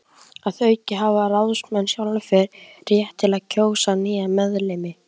Að auki hafa ráðsmenn sjálfir rétt til að kjósa nýja meðlimi.